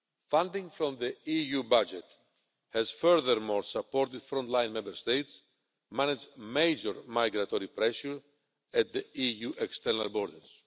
Funding from the EU budget has, furthermore, supported frontline Member States managing major migratory pressure at the EU external borders.